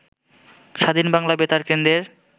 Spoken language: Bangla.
স্বাধীন বাংলা বেতার কেন্দ্রের